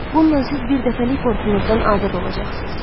Bununla siz birdəfəlik qorxunuzdan azad olacaqsınız.